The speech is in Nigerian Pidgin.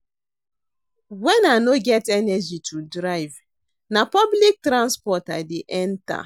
Wen I no get energy to drive, na public transport I dey enter.